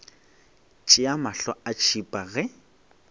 tšea mahlo a tšhipa ge